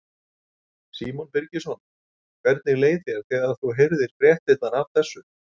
Símon Birgisson: Hvernig leið þér þegar þú heyrðir fréttirnar af þessu?